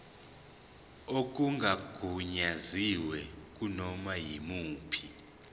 okungagunyaziwe kunoma yimuphi